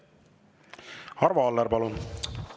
Arvo Aller, palun!